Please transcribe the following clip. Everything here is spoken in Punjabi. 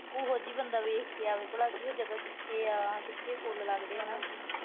ਉਹੋ ਜੀ ਜਗਾ ਦੇਖ ਕੇ ਆਵੇ ਬੰਦਾ, ਭਲਾ ਉਹ ਜਗਾ ਕਿੱਥੇ ਆ, ਕਿੱਥੇ ਫੁੱਲ ਲੱਗਦੇ ਆ।